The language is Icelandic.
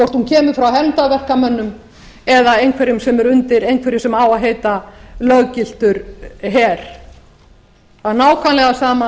hvort hún kemur frá hermdarverkamönnum eða einhverjum sem eru undir einhverju sem á að heita löggiltur her það er nákvæmlega sama